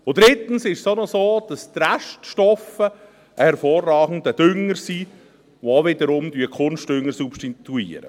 Und drittens ist es auch noch so, dass die Reststoffe ein hervorragender Dünger sind und wiederum den Kunstdünger substituieren.